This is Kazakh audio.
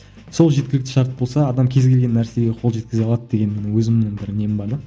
сол жеткілікті шарт болса адам кез келген нәрсеге қол жеткізе алады деген өзімнің бір нем бар да